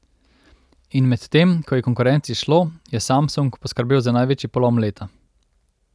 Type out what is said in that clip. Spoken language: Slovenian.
In medtem ko je konkurenci šlo, je Samsung poskrbel za največji polom leta.